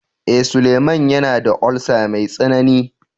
Eh, Suleman yana da "ulcer" mai tsanani.